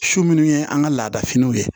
Su minnu ye an ka laada finiw ye